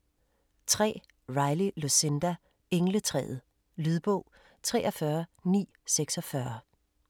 3. Riley, Lucinda: Engletræet Lydbog 43946